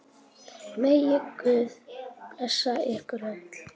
Megi Guð blessa ykkur öll.